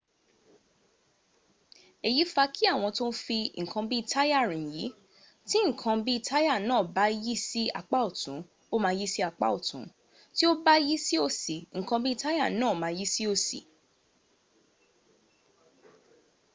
èyí fa kí àwọn tó ń fi ǹkan bí táyà rìn yí tí ǹkan bí táyà náà bá yí sí apá ọ̀tún ó ma yí sí apá ọ̀tún tí ó bá yí sí òsì ǹkan bí táyà náà ma yí sí òsì